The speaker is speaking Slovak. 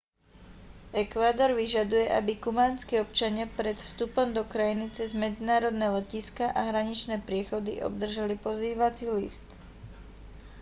ekvádor vyžaduje aby kubánski občania pred vstupom do krajiny cez medzinárodné letiská a hraničné priechody obdržali pozývací list